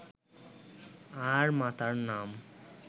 আর মাতার নাম